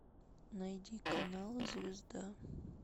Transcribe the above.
найди канал звезда